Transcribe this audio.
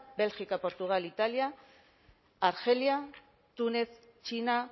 bélgica portugal italia argelia túnez china